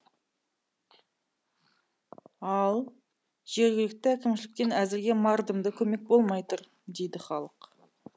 ал жергілікті әкімшіліктен әзірге мардымды көмек болмай тұр дейді халық